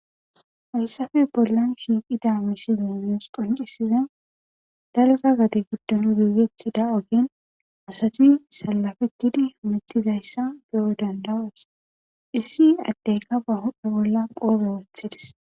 Hayssafe bollan shiiqida misilemiyos qoncisize dalga gade giddon giigetida ogen asati salafetidi metizayssa geyo dandawees issi adteyka ba hophe bolla qoobe wothidis.